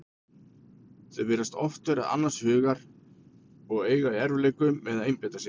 Þau virðast oft vera annars hugar og eiga í erfiðleikum með að einbeita sér.